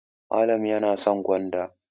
Malam yana son gwanda.